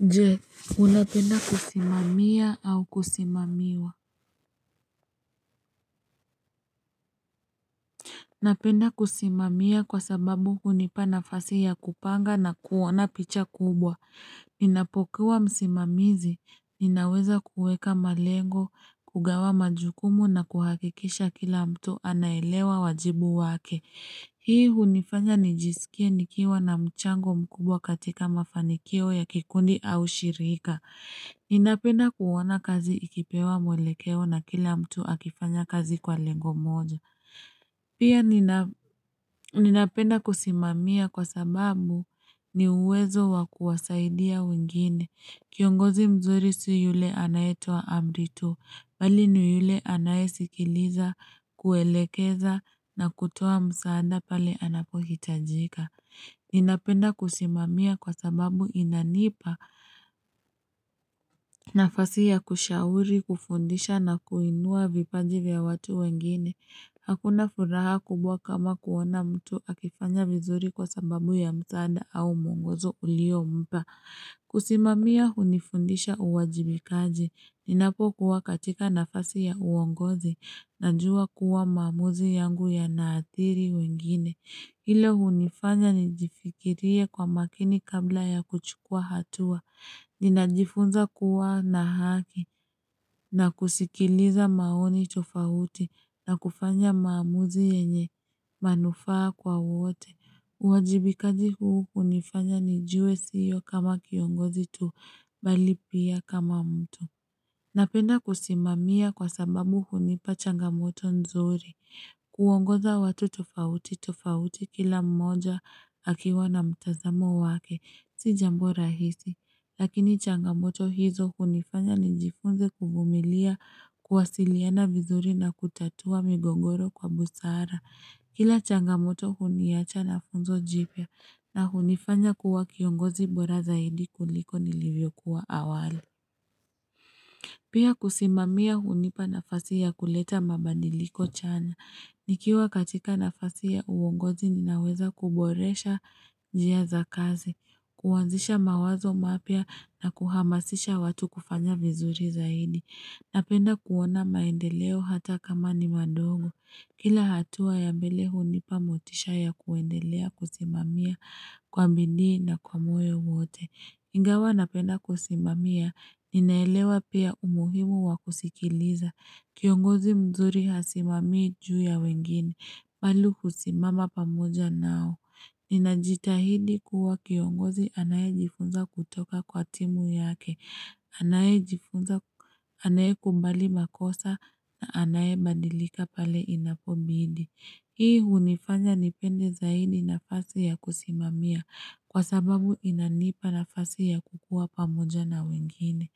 Nje, unapenda kusimamia au kusimamiwa? Napenda kusimamiya kwa sababu hunipa nafasi ya kupanga na kuona picha kubwa. Ninapokuwa msimamizi, ninaweza kueka malengo, kugawa majukumu na kuhakikisha kila mtu anaelewa wajibu wake. Hii hunifanya nijisikie nikiwa na mchango mkubwa katika mafanikio ya kikundi au shirika. Ninapenda kuona kazi ikipewa mwelekeo na kila mtu akifanya kazi kwa lengo moja. Pia ninapenda kusimamia kwa sababu ni uwezo wa kuwasaidia wengine. Kiongozi mzuri si yule anayetoa amri tu, bali ni yule anayesikiliza kuelekeza na kutoa msaada pale anapohitajika. Ninapenda kusimamia kwa sababu inanipa nafasi ya kushauri, kufundisha na kuinua vipaji vya watu wengine. Hakuna furaha kubwa kama kuona mtu akifanya vizuri kwa sababu ya msaada au mwongozo uliompa. Kusimamia hunifundisha uwajibikaji. Ninapokuwa katika nafasi ya uongozi najuwa kuwa mamuzi yangu yanaathiri wengine. Hilo hunifanya nijifikirie kwa makini kabla ya kuchukua hatua, ninajifunza kuwa na haki, na kusikiliza maoni tofauti, na kufanya maamuzi yenye manufaa kwa wote. Uwajibikaji huu hunifanya nijue sio kama kiongozi tu, bali pia kama mtu. Napenda kusimamia kwa sababu hunipa changamoto nzuri. Kuongoza watu tofauti tofauti kila mmoja akiwa na mtazamo wake. Si jambo rahisi. Lakini changamoto hizo hunifanya nijifunze kuvumilia kuwasiliana vizuri na kutatua migongoro kwa busara. Kila changamoto huniacha na funzo jipya na hunifanya kuwa kiongozi bora zaidi kuliko nilivyo kuwa awali. Pia kusimamia hunipa nafasi ya kuleta mabadiliko chanya. Nikiwa katika nafasi ya uongozi ninaweza kuboresha njia za kazi, kuanzisha mawazo mapya na kuhamasisha watu kufanya vizuri zaidi. Napenda kuona maendeleo hata kama ni mandogo. Kila hatua ya mbele hunipa motisha ya kuendelea kusimamia kwa bidii na kwa moyo mwote. Ingawa napenda kusimamia, ninaelewa pia umuhimu wa kusikiliza. Kiongozi mzuri hasimami juu ya wengine, bali husimama pamoja nao. Nina jitahidi kuwa kiongozi anayejifunza kutoka kwa timu yake, anayekubali makosa na anaye badilika pale inapobidi. Hii hunifanya nipende zaidi nafasi ya kusimamia kwa sababu inanipa nafasi ya kukua pamoja na wengine.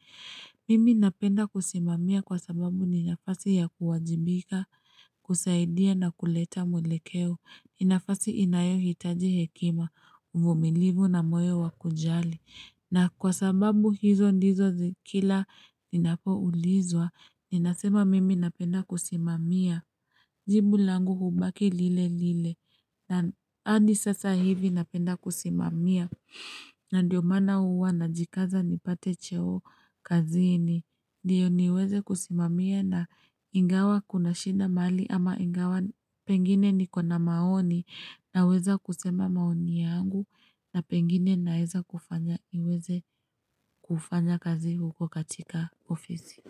Mimi napenda kusimamia kwa sababu ni nafasi ya kuwajibika, kusaidia na kuleta mwelekeo. Hii nafasi inayohitaji hekima, uvumilivu na moyo wa kujali. Na kwa sababu hizo ndizo kila ninapoulizwa, ninasema mimi napenda kusimamia. Jibu langu hubaki lile lile. Na andi sasa hivi napenda kusimamia. Ndiyo mana uwa najikaza nipate cheo kazini. Ndiyo niweze kusimamia na ingawa kuna shida mahali ama ingawa pengine nikona maoni naweza kusema maoni yangu na pengine naweza kufanya niweze kufanya kazi huko katika ofisi.